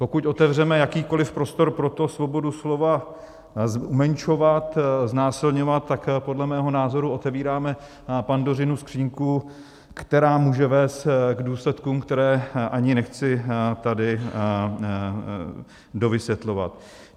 Pokud otevřeme jakýkoliv prostor pro to, svobodu slova umenšovat, znásilňovat, tak podle mého názoru otevíráme Pandořinu skříňku, která může vést k důsledkům, které ani nechci tady dovysvětlovat.